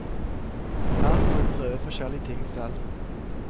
Her får vi prøve forskjellige ting selv.